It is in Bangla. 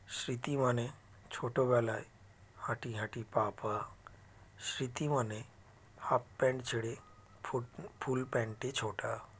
স্মৃতি মানে ছোটো বেলায় হাঁটিহাঁটি পা পা স্মৃতি মানে half pant ছেড়ে full full pant - এ ছোটা